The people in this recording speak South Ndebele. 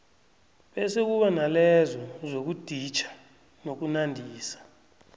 bese kube nalezo zokuditjha nokunandisa